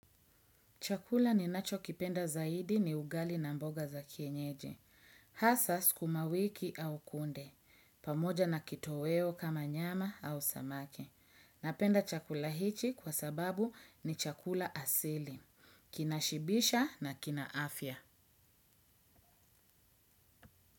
Chakula ninacho kipenda zaidi ni ugali na mboga za kienyeji. Hasaa sukumawiki au kunde. Pamoja na kitoweo kama nyama au samaki. Napenda chakula hichi kwa sababu ni chakula asili. Kina shibisha na kina afya.